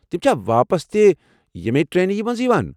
تِم چھا واپس تہِ یمنٕیہ ٹرینن منٛز یوان؟